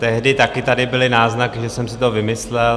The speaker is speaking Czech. Tehdy taky tady byly náznaky, že jsem si to vymyslel.